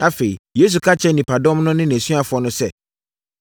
Afei, Yesu ka kyerɛɛ nnipadɔm no ne nʼasuafoɔ no sɛ,